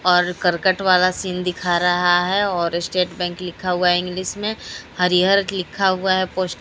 और करकट वाला सीन दिखा रहा है और स्टेट बैंक लिखा हुआ इंग्लिश मे हरिहर लिखा हुआ है पोस्ट --